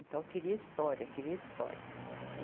Então, queria história, queria história.